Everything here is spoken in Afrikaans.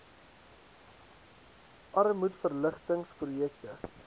armoedverlig tings projekte